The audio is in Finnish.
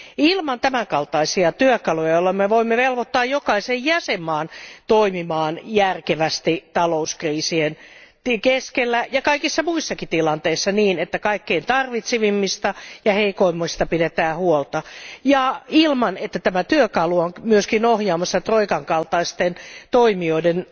Ilman tämänkaltaisia työkaluja, joilla me voimme velvoittaa jokaisen jäsenmaan toimimaan järkevästi talouskriisien keskellä ja kaikissa muissakin tilanteissa niin, että kaikkein suurimmat tarpeet omaavista ja heikoimmista pidetään huolta ilman, että tämä työkalu on myös ohjaamassa troikan kaltaisten toimijoiden